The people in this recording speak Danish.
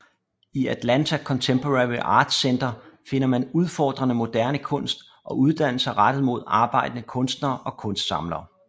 I Atlanta Contemporary Art Center finder man udfordrende moderne kunst og uddannelser rettet mod arbejdende kunstnere og kunstsamlere